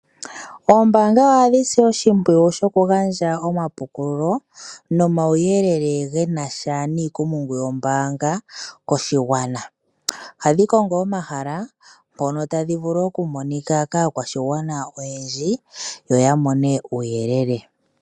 Oombanga ohadhi si oshimpwiyu shokugandja omapukululo nomauyelele genasha niikumungu yombanga koshigwana. Ohadhi kongo omahala mpono tadhi vulu okumonika kaakwashigwana oyendji yo ya mone uuyelele.